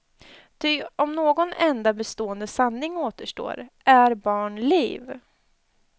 Ty om någon enda bestående sanning återstår, är barn liv.